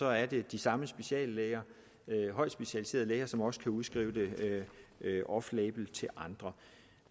at det er de samme speciallæger højt specialiserede læger som også kan udskrive det offlabel til andre